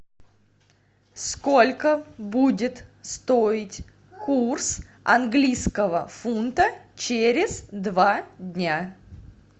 сколько будет стоить курс английского фунта через два дня